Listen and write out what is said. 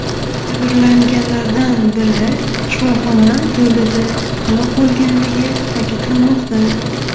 Jabrlanganlardan biri shifoxona yo‘lida halok bo‘lganligi ta’kidlanmoqda.